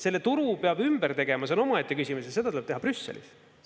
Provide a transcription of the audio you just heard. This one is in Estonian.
Selle turu peab ümber tegema, see on omaette küsimus, ja seda tuleb teha Brüsselis.